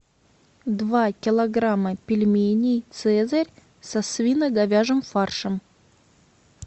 два килограмма пельменей цезарь со свино говяжьим фаршем